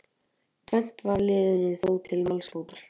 Tvennt var liðinu þó til málsbótar